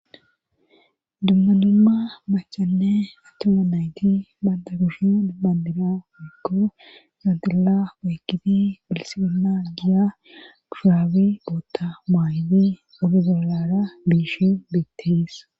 dummanumma machanne atuma nayti banda gushin dubbandira giggo gandilla weykiti bilsibena giya gushuraabi bootta maayidi abigoolara biishin beettees